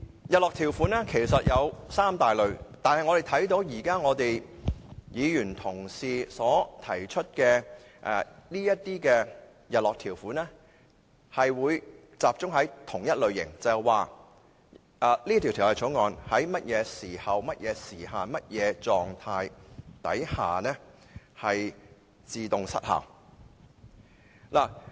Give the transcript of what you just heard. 日落條款有三大類，而我們看到議員提出的日落條款集中在同一類型，也就是訂明《條例草案》會在甚麼時候或時限，以及甚麼狀態下自動失效。